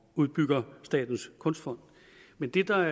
udbygger statens kunstfond men det der